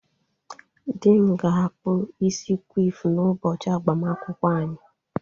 Di m ga-akpụ isi kwif n’ụbọchị agbamakwụkwọ anyị